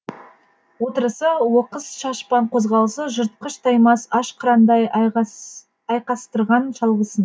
отырысы оқыс шашпаң қозғалысы жыртқыш таймас аш қырандай айқастырған шалғысын